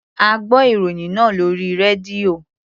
A gbọ́ ìròyìn náà lórí rédíò.